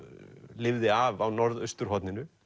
lifði af á norðausturhorninu